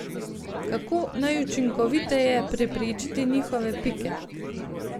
Kako najučinkoviteje preprečiti njihove pike?